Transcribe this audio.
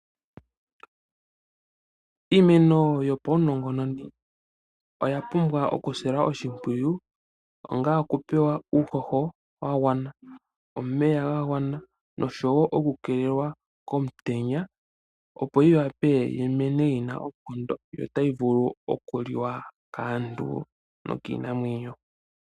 Iimeno yopaunongononi oya pumbwa okusilwa oshimpwiyu onga okupewa uuhoho wagwana omeya ga gwana oshowo oku keelelwa komutenya opo yi wape yimene yina oonkondo yo otayi vulu oku liwa kaantu nokiinamwenyo.